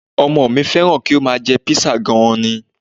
Ọmọ mi fẹ́ràn kí ó máa jẹ Písà gan-an ni